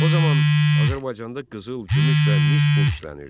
O zaman Azərbaycanda qızıl, gümüş və mis pul işlənirdi.